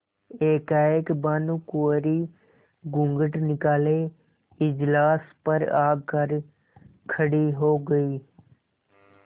एकाएक भानुकुँवरि घूँघट निकाले इजलास पर आ कर खड़ी हो गयी